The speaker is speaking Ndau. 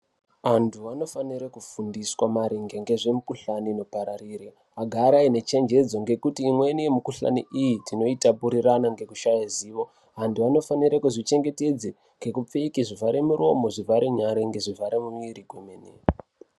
Antu anofanirwa kufundiswa maringe ngezve mukuhlani inopararira vagare vane chengedzo ngekuti imweni yemukuhlani iyi tinoyita puririrana ngekushaya zivo vantu vanosisa kuzvichengetedza nekupfeke zvivhara muromo zvivhara nyara nezvivhara muviri kwemene.